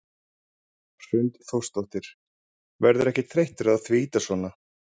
Hrund Þórsdóttir: Verðurðu ekkert þreyttur á því að ýta svona?